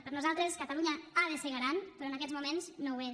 per nosaltres catalunya ha de ser garant però en aquests moment no ho és